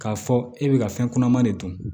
K'a fɔ e bɛ ka fɛn kunaman de dun